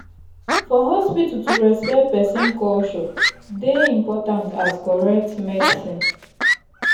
for hospital to respect person culture dey important as correct medicine.